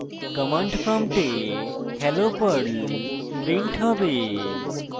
command prompt hello perl printed হবে